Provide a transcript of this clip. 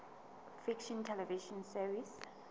fiction television series